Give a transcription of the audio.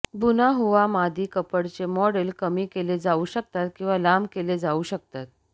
बुना हुआ मादी कपडचे मॉडेल कमी केले जाऊ शकतात किंवा लांब केले जाऊ शकतात